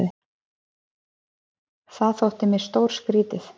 Það þótti mér stórskrítið.